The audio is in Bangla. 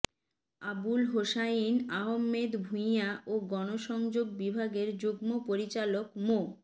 আবুল হোসাইন আহমেদ ভূঁইয়া ও গণসংযোগ বিভাগের যুগ্ম পরিচালক মো